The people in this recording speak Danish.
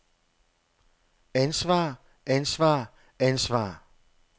ansvar ansvar ansvar